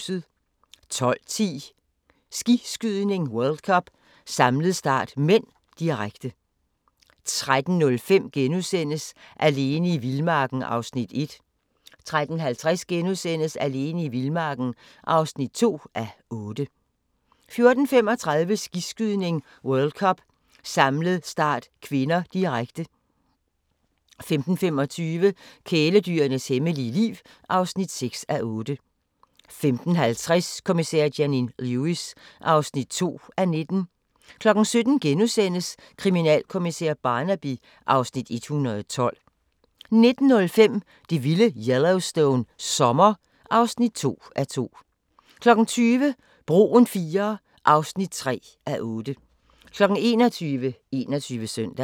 12:10: Skiskydning: World Cup - samlet start (m), direkte 13:05: Alene i vildmarken (1:8)* 13:50: Alene i vildmarken (2:8)* 14:35: Skiskydning: World Cup - samlet start (k), direkte 15:25: Kæledyrenes hemmelige liv (6:8) 15:50: Kommissær Janine Lewis (2:19) 17:00: Kriminalkommissær Barnaby (Afs. 112)* 19:05: Det vilde Yellowstone - sommer (2:2) 20:00: Broen IIII (3:8) 21:00: 21 Søndag